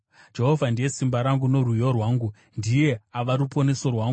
Jehovha ndiye simba rangu norwiyo rwangu; ndiye ava ruponeso rwangu.